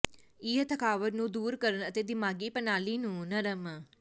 ਇਹ ਥਕਾਵਟ ਨੂੰ ਦੂਰ ਕਰਨ ਅਤੇ ਦਿਮਾਗੀ ਪ੍ਰਣਾਲੀ ਨੂੰ ਨਰਮ